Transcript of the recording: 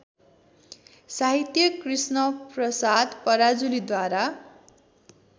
साहित्य कृष्णप्रसाद पराजुलीद्वारा